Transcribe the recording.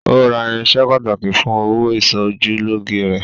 Ó Ra irinṣẹ́ pàtàkì fún òwò ìsojúlóge rẹ̀.